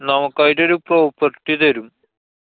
നമുക്കായിട്ടൊരു property തരും.